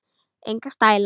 Enga stæla!